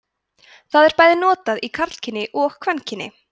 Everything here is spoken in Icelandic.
það er bæði notað í karlkyni og kvenkyni